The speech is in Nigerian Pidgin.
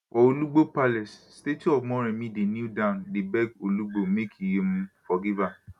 for olugbo palace statue of moremi dey kneel down dey beg olugbo make e um forgive her